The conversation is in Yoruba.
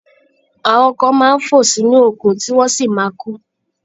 Àwọn kan máa ń fò sínú òkun, tí wọ́n sì ma kú.